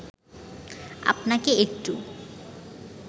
আপনাকে একটু